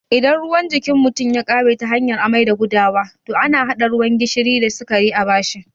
Idan ruwan jikin mutum ya ƙare ta hanyar amai da gudawa, to ana haɗa ruwan gishiri da sikari a bashi